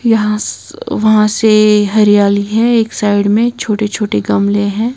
यहां स वहां से हरियाली है एक साइड में छोटे छोटे गमले हैं।